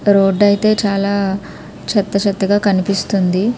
Road ఐతే చాలా చెత్త చెత్త కనిపిస్తుంది.